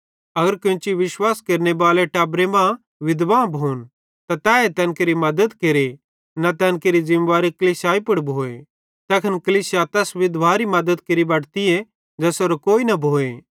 अगर कोन्ची विश्वास केरनेबालेरी टब्बरे मां विधवां भोन त तैए तैन केरि मद्दत केरे न तैन केरि ज़िमेवारी कलीसियाई पुड़ भोए तैखन कलीसिया तैस विधवारी मद्दत केरि बटते ज़ेसेरो कोई न भोए